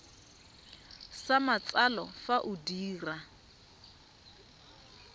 sa matsalo fa o dira